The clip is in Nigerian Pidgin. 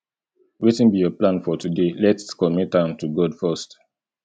wetin be your plan for today lets commit am to god first